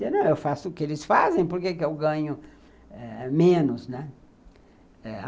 Dizia, não, eu faço o que eles fazem, por que eu ganho eh menos, né?